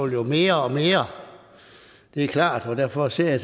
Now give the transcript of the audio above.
jo mere og mere det er klart og derfor ser jeg